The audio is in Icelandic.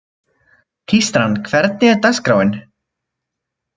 Tístran, hvernig er dagskráin?